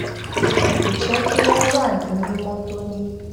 kó jé kí wón wà ní mímó tóní